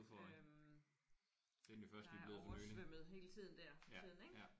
Øh der er oversvømmet hele tiden der for tiden ik